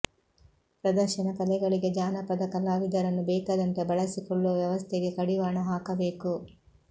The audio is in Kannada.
ಪ್ರದರ್ಶನ ಕಲೆಗಳಿಗೆ ಜಾನಪದ ಕಲಾವಿದರನ್ನು ಬೇಕಾದಂತೆ ಬಳಸಿಕೊಳ್ಳುವ ವ್ಯವಸ್ಥೆಗೆ ಕಡಿವಾಣ ಹಾಕಬೇಕು